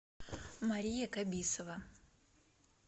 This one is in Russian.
мария кабисова